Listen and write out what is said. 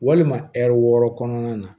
Walima ɛri wɔɔrɔ kɔnɔna na